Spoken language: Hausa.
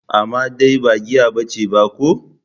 Amma dai ba giya bace ba ko?